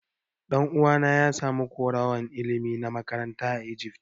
Dan'uwa na ya samu karowan ilimi na makaranta a Egypt.